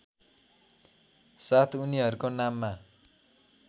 साथ उनीहरूको नाममा